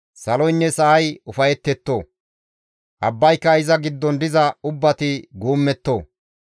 Saloynne sa7ay ufayetetto! abbaynne iza giddon diza ubbati guummetto!